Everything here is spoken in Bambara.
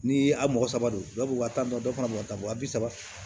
Ni a' mɔgɔ saba don dɔw bɛ waa tan na dɔw fana b'o ta wa bi saba